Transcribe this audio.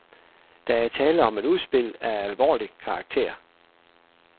Der er tale om et udspil af alvorlig karakter.